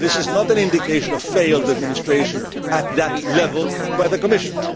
This is not an indication of failed administration at that level by the Commission.